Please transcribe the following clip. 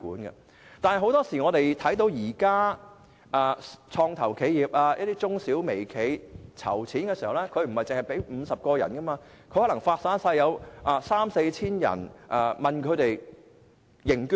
不過，很多創投企業、中小微企籌款時，對象不止50人，而是向三四千人認捐。